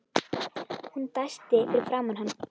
Hún dæsti fyrir framan hann.